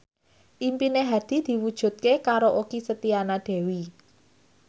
impine Hadi diwujudke karo Okky Setiana Dewi